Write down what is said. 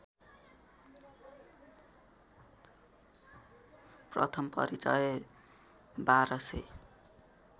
प्रथम परिचय १२००